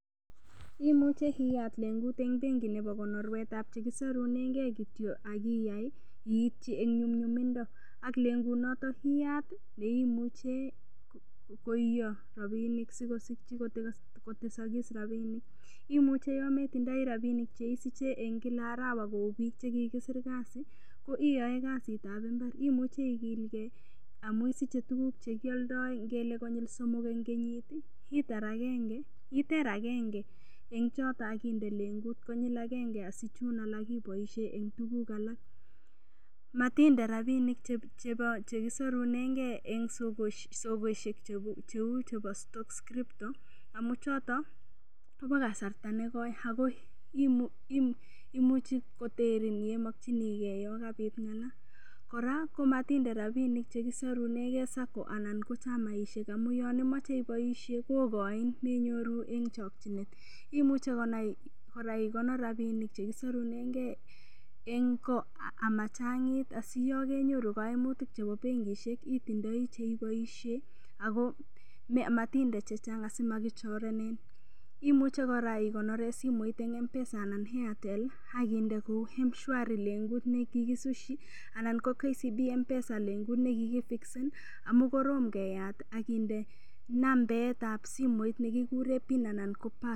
Imuchei iyat lengut eng' bengi nebo konorwetab chekisorunengei kityo akiyai iityi eng' nyumyumindo ak lengut noto iyat neimuchei koiyo rapinik sikosikchi kotesokis rapinik imuchei yo metindoi rapinik cheisiche eng' kila arawa kou biik chekikisir kasi ko iyoe kasitab imbar imuchei ikilgei amu isiche tuguk chekioldoi ngele konyil somok eng' kenyit iter agenge eng' choto akinde lengut konyil agenge asi chun alak iboishei eng' tuguk alak matinde rapinik chekisarunegei eng' sokeshek cheu chebo stockscripto amu choto kobo kasarta nekoi ako imuchi koterin yeimokchinigei yo kabit ng'ala kora komatinde rapinik chekisarunegei Sacco anan ko chamaishek amu yon imoche iboishe kokoini menyoru eng' chokchinet imuchei kora ikonor rapinik chekisorunegei eng' ko amachang'it asiyokenyoru koimutik chebo bengishek itindioi cheiboishe ako matinde chechang' asimakichorenen imuchei kora ikonore simoit eng' mpesa anan ko airtel akinde kou mshwari lengut nekikisushi anan ko kcb mpesa lengut ne kikifikisen amu korom keyat akinde nametab simoit nekikure pin anan